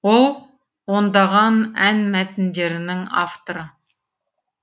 ол ондаған ән мәтіндерінің авторы